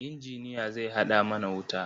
Injiniya zai haɗa mana wuta.